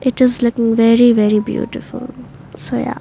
It is looking very very beautiful so yeah.